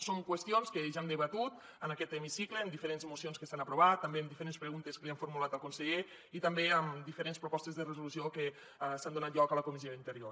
són qüestions que ja hem debatut en aquest hemicicle en diferents mocions que s’han aprovat també en diferents preguntes que li han formulat al conseller i també en diferents propostes de resolució que han tingut lloc a la comissió d’interior